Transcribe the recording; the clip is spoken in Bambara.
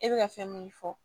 E bɛ ka fɛn min fɔ